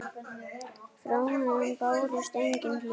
Frá honum bárust engin hljóð.